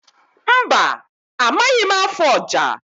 Mba, amaghị m afụ ọja.